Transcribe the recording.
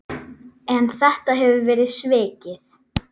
En þetta hefur verið svikið.